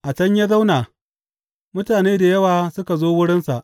A can ya zauna mutane da yawa suka zo wurinsa.